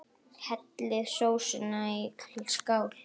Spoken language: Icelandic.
Hellið sósunni í skál.